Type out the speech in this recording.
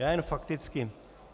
Já jen fakticky.